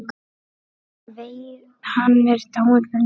Hann er dáinn fyrir löngu.